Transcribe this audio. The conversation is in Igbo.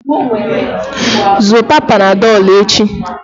Zụta panadọlụ echi